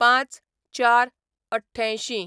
०५/०४/८८